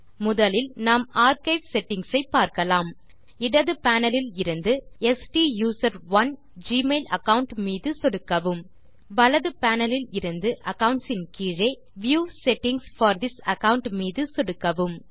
முதலில் நாம் archive settings ஐ பார்க்கலாம் இடது பேனல் இலிருந்து ஸ்டூசரோன் ஜிமெயில் அகாவுண்ட் மீது சொடுக்கவும் வலது பேனல் இலிருந்து அக்கவுண்ட்ஸ் ன் கீழே view settings for this account மீது சொடுக்கவும்